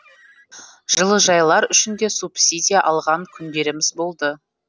жылыжайлар үшін де субсидия алған күндеріміз болды